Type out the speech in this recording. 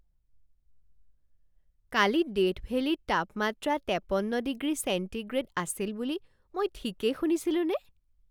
কালি Death ভেলীত তাপমাত্ৰা তেপন্ন ডিগ্ৰী চেণ্টিগ্ৰেড আছিল বুলি মই ঠিকেই শুনিছিলোঁনে?